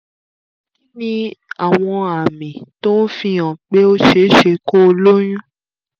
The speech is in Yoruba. kí ni àwọn àmì tó ń fi hàn pé ó ṣe é ṣe kó o lóyún?